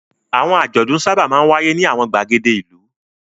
Àwọn àjọ̀dún sábà máa ń wáyé ní àwọn ìgbàgede ìlú.